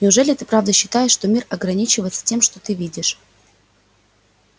неужели ты правда считаешь что мир ограничивается тем что ты видишь